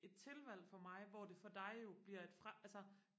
et tilvalg for mig hvor det for dig jo bliver et fra altså